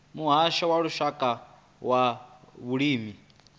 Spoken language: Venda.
muhasho wa lushaka wa vhulimi